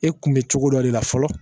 E kun be cogo dɔ de la fɔlɔ